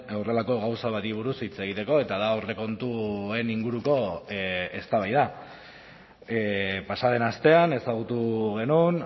horrelako gauza bati buruz hitz egiteko eta da aurrekontuen inguruko eztabaida pasa den astean ezagutu genuen